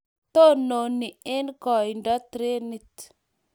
tononi eng' koindo trenit